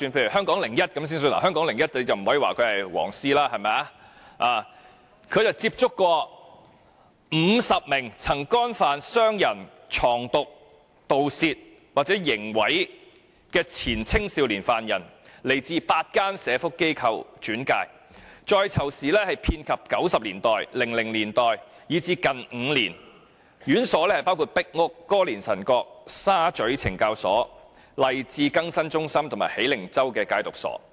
以《香港01》為例——我們不能稱其為"黃絲"——曾接觸50名曾干犯傷人、藏毒、盜竊或刑毀的前青少年犯人，他們由8間社福機構轉介，在囚時間遍及1990年代、2000年代，以至近5年，院所包括壁屋懲教所、歌連臣角懲教所、沙咀懲教所、勵志更新中心及喜靈洲戒毒所。